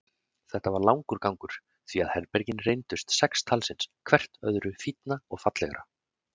Þetta var langur gangur, því að herbergin reyndust sex talsins, hvert öðru fínna og fallegra.